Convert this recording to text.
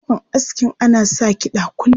Shagon askin ana sa kiɗa kullum.